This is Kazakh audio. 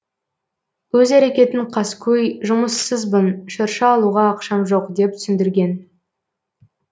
өз әрекетін қаскөй жұмыссызбын шырша алуға ақшам жоқ деп түсіндірген